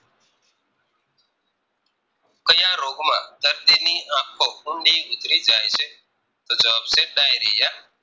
ક્યાં રોગ માં દર્દીની આખો ઊંડી ઉતરી જાય છે તો જવાબ છે Diarrhea